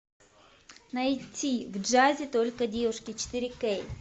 найти в джазе только девушки четыре кей